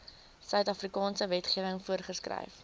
suidafrikaanse wetgewing voorgeskryf